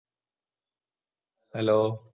Hello